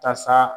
Tasa